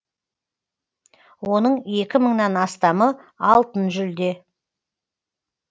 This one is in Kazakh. оның екі мыңнан астамы алтын жүлде